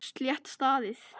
Slétt staðið.